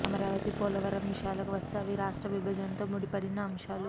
అమరావతి పోలవరం విషయాలకు వస్తే అవి రాష్ట్ర విభజనతో ముడిపడిన అంశాలు